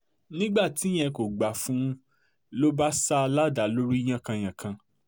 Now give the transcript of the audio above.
nígbà tí ìyẹn kò gbà fún un ló bá sá a ládàá lórí yánkànyànkàn